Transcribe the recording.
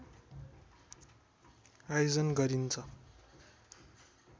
आयोजन गरिन्छ